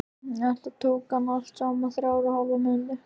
Þetta tók hann allt saman þrjár og hálfa mínútu.